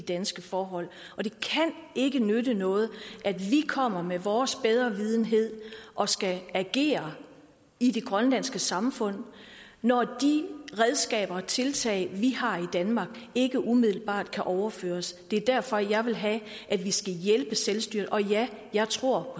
danske forhold og det kan ikke nytte noget at vi kommer med vores bedrevidenhed og skal agere i det grønlandske samfund når de redskaber og tiltag vi har i danmark ikke umiddelbart kan overføres det er derfor jeg vil have at vi skal hjælpe selvstyret og ja jeg tror